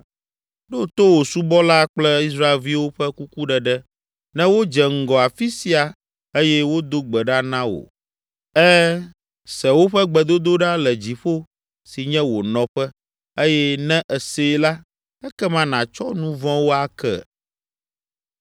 Ɖo to wò subɔla kple Israelviwo ƒe kukuɖeɖe ne wodze ŋgɔ afi sia eye wodo gbe ɖa na wò. Ẽ, se woƒe gbedodoɖa le dziƒo si nye wò nɔƒe eye ne èsee la, ekema nàtsɔ nu vɔ̃wo ake.